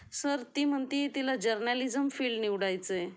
Sir ती म्हणती तिला जर्नालिझम फील्ड निवडायचय.